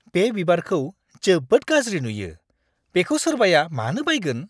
बे बिबारखौ जोबोद गाज्रि नुयो। बेखौ सोरबाया मानो बायगोन?